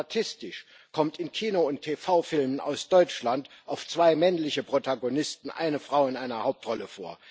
Statistisch kommt in Kino und TV Filmen aus Deutschland auf zwei männliche Protagonisten eine Frau in einer Hauptrolle.